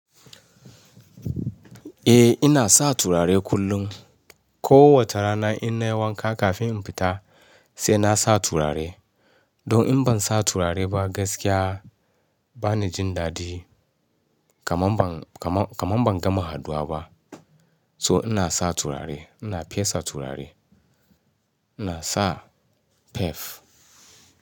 Eh ina sa turare kullum. Ko wata rana ina yi wanka kafin in fita sai na sa turare. Don in ban sa turare ba gaskiya ba ni jin dadi kaman ban, kaman, kaman ban gama hadua ba. To ina sa turare, ina fesa turare. Ina sa perf.